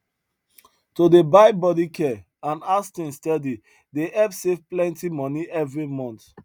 to dey buy body care and house things steady dey help save plenty money every month